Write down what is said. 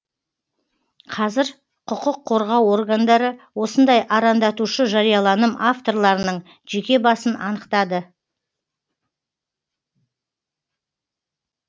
қазір құқық қорғау органдары осындай арандатушы жарияланым авторларының жеке басын анықтады